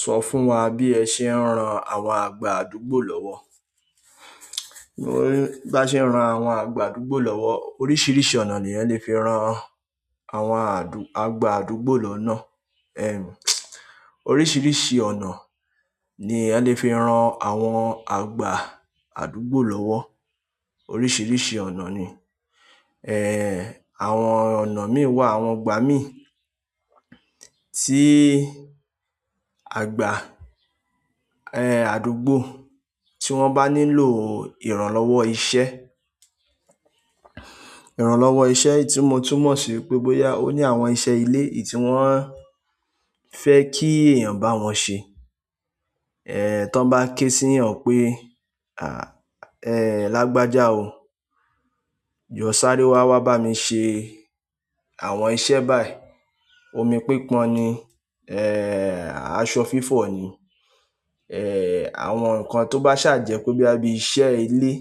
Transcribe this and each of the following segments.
Sọ fún wa bí ẹ ṣe ń ran àwọn àgba àdúgbò lọ́wọ́. Bá ṣe ń ran àwọn àgbà àdúgbò lọ́wọ́, oríṣiríṣi ọ̀nà ni eyan lè fi ran àwọn àdù, àgbà àdúgbò lọ́nà. Oríṣiríṣi ọ̀nà ni eyan lè fi ran àwọn àgbà àdúgbò lọ́wọ́. Oríṣiríṣi ọ̀nà ni. Àwọn ọ̀nà mí wà, àwọn ìgbà mì tí àgbà, àdúgbò tí wọ́n bá nílò ìrànlọ́wọ́ iṣẹ́. Ìrànlọ́wọ́ iṣẹ́ tí mo tú mọ̀ sí wipé bóyá ó ní àwọn iṣẹ́ ilé èyí ti wọ́n fẹ́ kí èyàn bá wọn ṣe. To bá ké sí ẹyan pé, "Lágbájá o, jọ sáré wá, wá bá mi ṣe àwọn iṣẹ́ báyìí." Omi pípon ni, aṣọ fífọ̀ ni. Àwọn nkan tó bá ṣàjẹ́ pé boya bí iṣẹ́ ilé,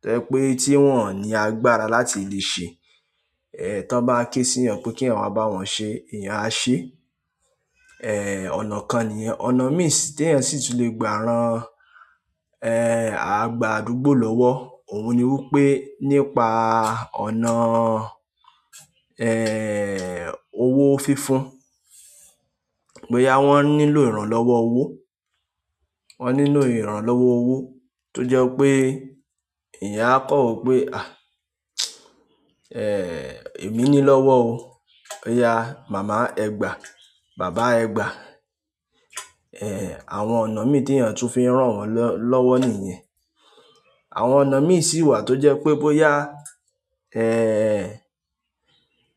to je pé tí wọ́n ò ní agbára láti lè sẹ. Eh, tí wọ́n bá ké sí ìyàn pé kí èèyàn wá bá wọn ṣe, èèyàn á ṣe. Ọ̀nà kan nìyẹn. Ọ̀nà mì tí èyàn sì tún lè gbà ran, àgba àdúgbò lọ́wọ́, òhun ni wípé nípa ọ̀nà, owó fífún. Bóyá wọ́n nílò ìrànlọ́wọ́ owó, wọ́n nílò ìrànlọ́wọ́ owó tó jẹ́ wipé ẹ̀yàn á kan wo pé, èmi nílọ́wọ́ o. Ọ̀yà, màmá ẹ gbà, bàbá ẹ gbà. Àwọn ọ̀nà mì tí èyàn tún fi ń rán wọn lọ́wọ́ nìyẹn. Àwọn ọ̀nà mi si wa to je pe boya,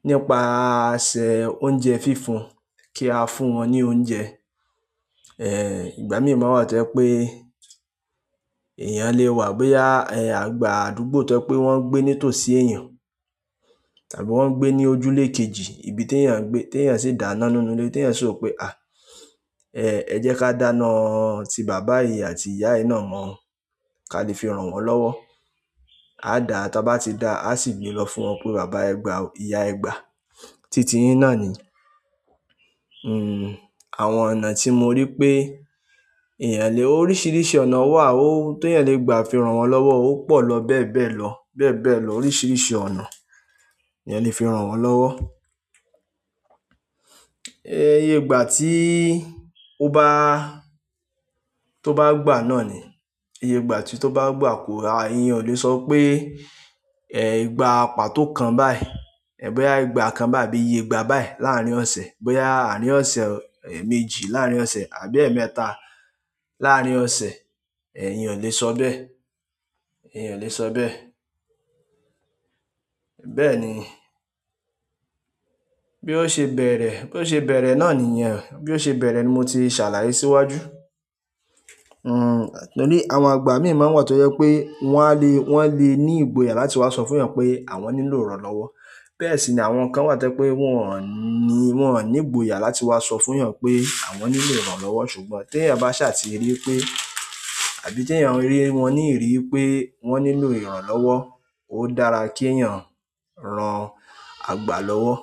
nípasẹ̀ oúnjẹ fífún ki a fún won ni oúnjẹ ìgbàmi maa n wà to je pé èyàn lè wà bóyá, àgbà àdúgbò to je pé wọ́n ń gbé ní tòsí eyàn, tàbí wọ́n ń gbé ní ojúlé kejì, ibi tí èyàn ń gbé, tí èyàn sì dá iná nínú ilé, tí èyàn sì ro pé, "ẹ jẹ́ ká dáná ti baba yìí àti ìyá yìí náà mọ́, ká lè fi ran wọ́n lọ́wọ́." A dá, ta bá ti dá, a sì gbé lọ fún wọn pé bàbá ẹ gbà o, ìyá ẹ gbà. Títí yìn náà ni. Àwọn ọ̀nà ti mo ri pe eyan le, oríṣiríṣi ọ̀nà wa o ti eyan le gba fi ran won lowo o po lo bebe lo, bebe lo oríṣiríṣi ọ̀nà ni eyan le fi ran won lowo. Ẹyẹ ìgbà tí ó bá, tó bá gbà náà ni, eye ìgbà tí ó bá gbà kù, èèyàn lè sọ pé, gba patò kan báyì. Bóyá ìgbà kan báyi àbí iye ìgbà báyí làárín ọ̀sẹ̀, bóyá àárín ọ̀sẹ̀, eméjì, láárín ọ̀sẹ̀ àbí ẹ́mẹta láárín ọ̀sẹ̀, èyàn o lè sọ bẹ́ẹ̀, èyàn o le sọ bẹ́ẹ̀. Bẹ́ẹ̀ ni. Bí ó ṣe bẹ̀rẹ̀, bí ó ṣe bẹ̀rẹ̀ náà nìyẹn. Bí ó ṣe bẹ̀rẹ̀ ni mo ti ṣàlàyé síwájú. Torí àwọn àgba mi maa n wà tó jẹ́ pé wọ́n á le, wọ́n le ní ìgboyà láti wá sọ fún èyàn pé àwọn nílò ìrànlọ́wọ́. Bẹ́ẹ̀ sì ni àwọn kan wà to je pé wọn ò ní, wọn ò ní ìgboyà láti wá sọ fún èyàn pé àwọn nílò ìrànlọ́wọ́. Ṣùgbọ́n tí èyàn bá ṣà ti rí wipé àbí tí èyàn rí wọn ní ìrí pé wọ́n nílò ìranlowò, ó dára kí èyàn ran àgba lọ́wọ́.